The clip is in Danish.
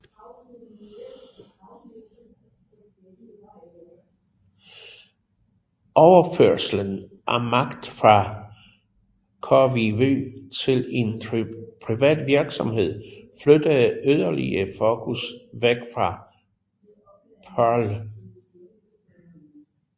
Overførslen af magt fra KWV til en privat virksomhed flyttede yderligere fokus væk fra Paarl